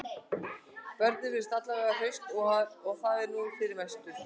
Börnin virðast alla vega hraust og það er nú fyrir mestu